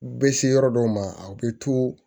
U bɛ se yɔrɔ dɔw ma aw bɛ to